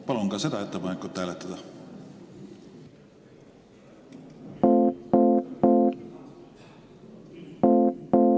Palun ka seda ettepanekut hääletada!